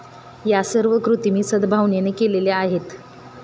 या सर्व कृती मी सदभावनेने केलेल्या आहेत.